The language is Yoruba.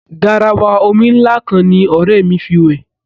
Garawa omi ńlá kan ní ọ̀rẹ́ mí fí wẹ̀.